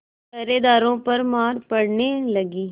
पहरेदारों पर मार पड़ने लगी